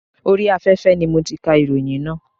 Orí afẹ́fẹ́ ni mo ti kà ìròyìn náà.